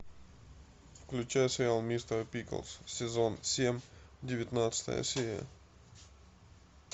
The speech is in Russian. включай сериал мистер пиклз сезон семь девятнадцатая серия